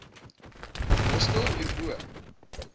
hostel hier bo